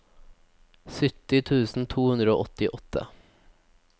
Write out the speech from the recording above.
sytti tusen to hundre og åttiåtte